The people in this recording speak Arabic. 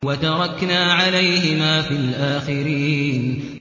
وَتَرَكْنَا عَلَيْهِمَا فِي الْآخِرِينَ